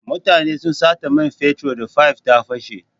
Mutane sun sata man fetur da fayif ta fashe.